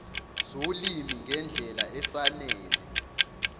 zolimi ngendlela efanele